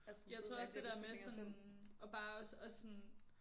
Jeg tror også det der med sådan at bare at sådan